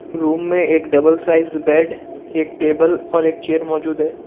Room में एक double size bed एक टेबल और एक चेयर मौजूद है।